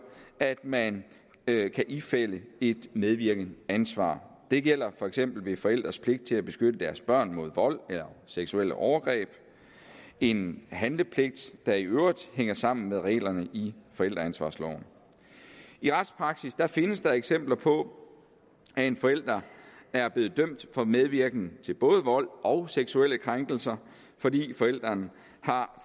at man kan ifalde et medvirkende ansvar det gælder for eksempel forældres pligt til at beskytte deres børn mod vold eller seksuelle overgreb en handlepligt der i øvrigt hænger sammen med reglerne i forældreansvarsloven i retspraksis findes der eksempler på at en forælder er blevet dømt for medvirken til både vold og seksuelle krænkelser fordi forælderen har